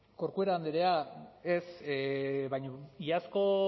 corcuera andrea ez baina iazko